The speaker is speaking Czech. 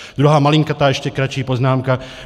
Druhá malinkatá, ještě kratší poznámka.